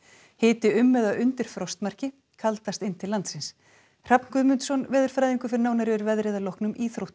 hiti um eða undir frostmarki kaldast inn til landsins Hrafn Guðmundsson veðurfræðingur fer nánar yfir veðrið að loknum íþróttum